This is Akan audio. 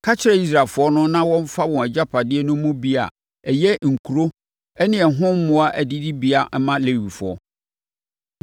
“Ka kyerɛ Israelfoɔ no na wɔmfa wɔn agyapadeɛ no mu bi a ɛyɛ nkuro ne ɛho mmoa adidibea mma Lewifoɔ.